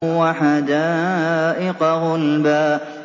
وَحَدَائِقَ غُلْبًا